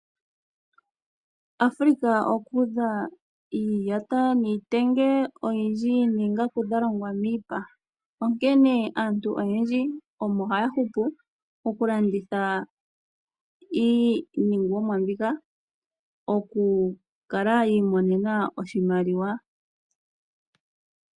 Africa oku udha iiyata niitenge oyindji noongaku dha longwa miipa, onkene aantu oyendji omo haya hupu okulanditha iiningomwa mbika, okukala yi imonene oshimaliwa.